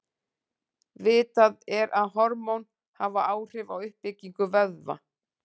Vitað er að hormón hafa áhrif á uppbyggingu vöðva.